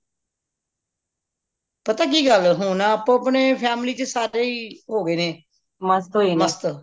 ਪਤਾ ਕਿ ਗੱਲ ਹੁਣ ਆਪੋ ਆਪਣੀ family ਚ ਸਾਰੇ ਹੀ ਹੋ ਗਏ ਨੇ ਮਸਤ